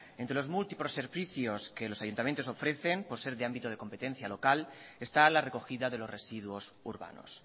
entre los múltiples servicios que los ayuntamientos ofrecen por ser de ámbito de competencia local está la recogida de los residuos urbanos